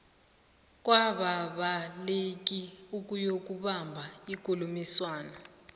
kwababaleki ukuyokubamba ikulumiswano